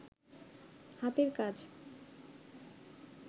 হাতের কাজ